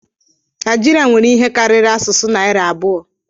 Naijiria nwere ihe karịrị asụsụ narị abụọ.